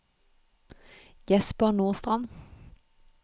Jesper Nordstrand